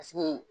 Paseke